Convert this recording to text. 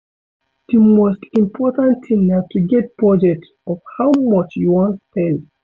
Di most important thing na to get budget of how much you wan spend